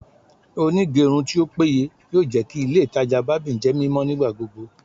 Onigerun ti o peye yoo jẹ ki ile itaja barbing jẹ mimọ nigbagbogbo